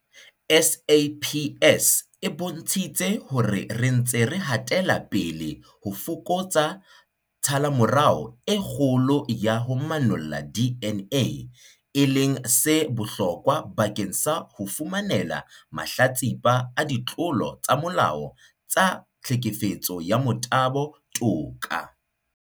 SAPS e bontshitse hore re ntse re hatela pele ho fokotsa tshallomora e kgolo ya ho manolla DNA, e leng se bohlokwa bakeng sa ho fumanela mahlatsipa a ditlolo tsa molao tsa tlhekefetso ya motabo toka.